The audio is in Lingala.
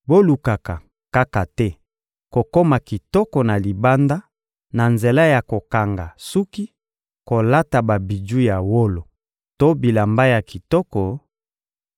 Bolukaka kaka te kokoma kitoko na libanda na nzela ya kokanga suki, kolata babiju ya wolo to bilamba ya kitoko;